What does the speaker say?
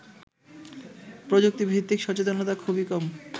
প্রযুক্তিভিত্তিক সচেতনতা খুবই কম